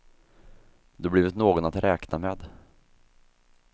Du har blivit någon att räkna med.